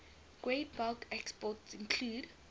breakbulk exports include